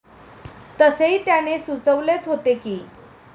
तसेही त्याने सुचवलेच होते की.